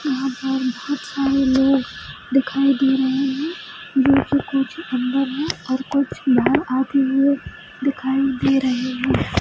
यहाँ पर बहुत सारे लोग दिखाई दे रहे हैं कुछ अंदर हैं और कुछ बाहर आते हुए दिखाई दे रहे हैं।